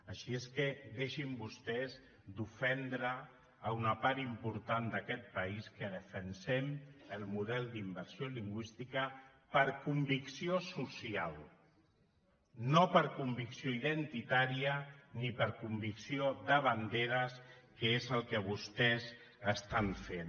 així és que deixin vostès d’ofendre una part important d’aquest país que defensem el model d’immersió lingüística per convicció social no per convicció identitària ni per convicció de banderes que és el que vostès estan fent